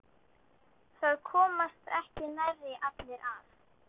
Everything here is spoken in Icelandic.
Það komast ekki nærri allir að.